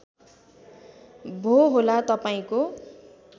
भो होला तपाईँको